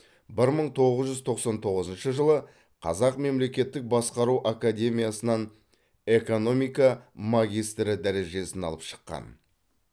бір мың тоғыз жүз тоқсан тоғызыншы жылы қазақ мемлекеттік басқару академиясынан экономика магистрі дәрежесін алып шыққан